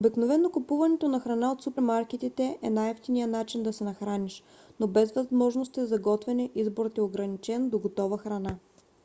обикновено купуването на храна от супермаркетите е най-евтиният начин да се нахраниш. но без възможности за готвене изборът е ограничен до готова храна